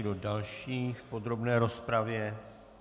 Kdo další v podrobné rozpravě?